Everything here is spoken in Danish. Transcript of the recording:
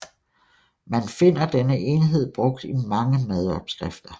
Man finder denne enhed brugt i mange madopskrifter